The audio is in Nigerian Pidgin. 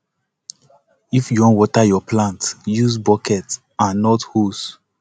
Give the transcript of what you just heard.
if you wan water yur plant use bucket and not hose